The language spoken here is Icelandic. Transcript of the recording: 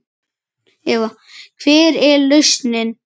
Eva: Hver er lausnin?